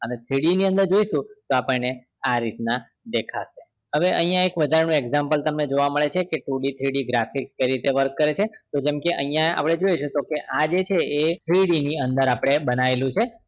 અને 3D ની અંદર જોઈશું તો આપણને આ રીત નાં દેખાશે હવે અહિયાં એક વધારા નું example તમને જોવા મળે છે કે tooDthree d graphic કઈ રીતે work કરે છે તો જેમ કે અહિયાં આપડે જોઈશું તો કે આ જે છે એ આપડે three d ની અંદર આપડે બનાયેલું છે